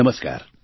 નમસ્કાર